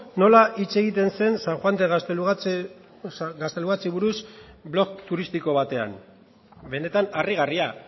nola hitz egiten zen san juan de gaztelugatxeri buruz blog turistiko batean benetan harrigarria